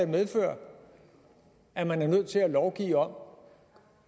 medføre at man er nødt til at lovgive om